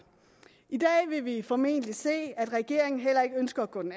i dag vil vi formentlig se at regeringen heller ikke ønsker at gå den